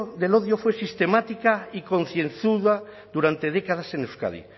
del odio fue sistemática y concienzuda durante décadas en euskadi